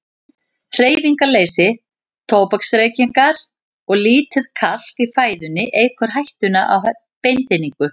Hreyfingarleysi, tóbaksreykingar og lítið kalk í fæðunni eykur hættuna á beinþynningu.